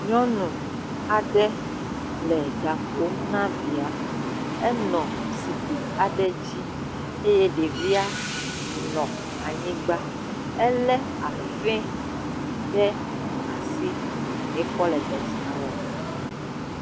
Nyɔnu aɖe le ɖa ƒom na via. Enɔ zikpui aɖe dzi eye ɖevi la nɔ anyigba. Ele afɛ ɖe asi ekɔ le dɔ sia wɔm.